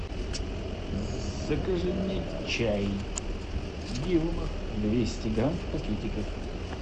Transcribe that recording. закажи мне чай дилма двести грамм в пакетиках